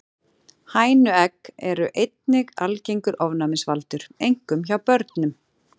Hænuegg eru einnig algengur ofnæmisvaldur, einkum hjá börnum.